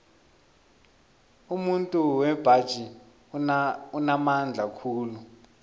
umuntu wembaji unamandla khulu